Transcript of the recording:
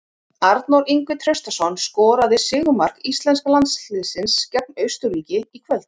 Arnór Ingvi Traustason skoraði sigurmark íslenska landsliðsins gegn Austurríki í kvöld.